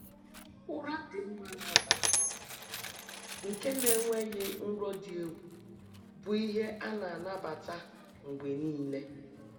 Ụra dị mma n'abalị, nke na-enweghị nrọ dị egwu, bụ ihe a na-anabata mgbe niile.